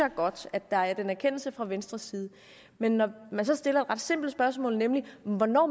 er godt at der er den erkendelse fra venstres side men når man så stiller et ret simpelt spørgsmål nemlig hvornår